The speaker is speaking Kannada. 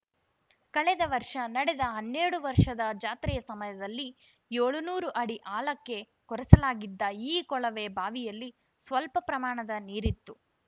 ಕಳೆದ ವರ್ಷ ನಡೆದ ಹನ್ನೆರಡು ವರ್ಷದ ಜಾತ್ರೆಯ ಸಮಯದಲ್ಲಿ ಏಳುನೂರು ಅಡಿ ಆಳಕ್ಕೆ ಕೊರೆಸಲಾಗಿದ್ದ ಈ ಕೊಳವೆ ಬಾವಿಯಲ್ಲಿ ಸ್ವಲ್ಪ ಪ್ರಮಾಣದ ನೀರಿತ್ತು